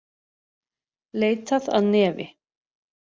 Leitað að nefi